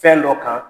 Fɛn dɔ kan